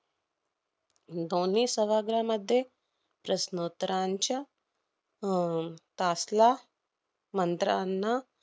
दोन्ही सभाग्रहामधे प्रश्नोत्तरांच्या अह तासला मंत्रांना